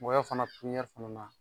Mɔgɔ ya fana bi ku ɲɛ fana na.